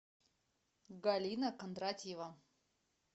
галина кондратьева